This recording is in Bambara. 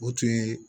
O tun ye